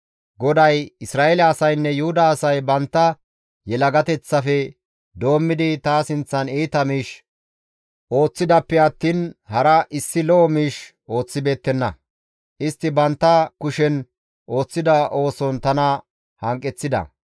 GODAY, «Isra7eele asaynne Yuhuda asay bantta yelagateththafe doommidi ta sinththan iita miish ooththidaappe attiin hara issi lo7o miish ooththibeettenna; istti bantta kushen ooththida ooson tana hanqeththida.